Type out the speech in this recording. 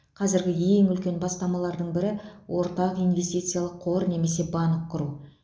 қазіргі ең үлкен бастамалардың бірі ортақ инвестициялық қор немесе банк құру